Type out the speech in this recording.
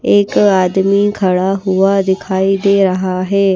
एक आदमी खड़ा हुआ दिखाई दे रहा है।